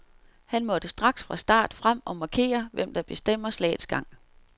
Han måtte straks fra start frem og markere, hvem der bestemmer slaget gang.